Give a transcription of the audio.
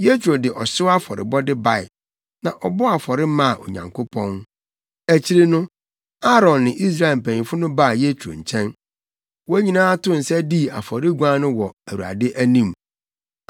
Yetro de ɔhyew afɔrebɔde bae, na ɔbɔɔ afɔre maa Onyankopɔn. Akyiri no, Aaron ne Israel mpanyimfo no baa Yetro nkyɛn. Wɔn nyinaa too nsa dii afɔreguan no wɔ Awurade anim.